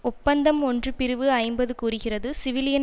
ஒப்பந்தம் ஒன்றுபிரிவு ஐம்பது கூறுகிறது சிவிலியன்